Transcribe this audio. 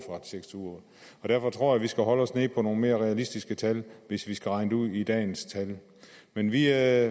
og tyve uger derfor tror jeg vi skal holde os nede på nogle mere realistiske tal hvis vi skal regne det ud i dagens tal men vi er